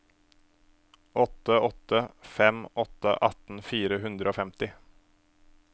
åtte åtte fem åtte atten fire hundre og femti